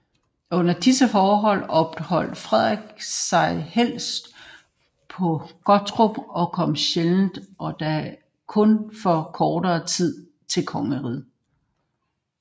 Under disse forhold opholdt Frederik sig helst på Gottorp og kom sjældent og da kun for kortere tid til kongeriget